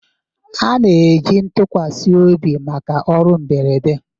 A na-eji ntụkwasị obi maka ọrụ mberede.